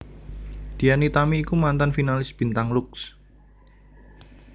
Dian Nitami iku mantan finalis bintang Lux